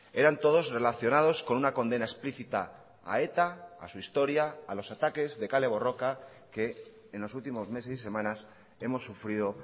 eran todos relacionados con una condena explícita a eta a su historia a los ataques de kale borroka que en los últimos meses y semanas hemos sufrido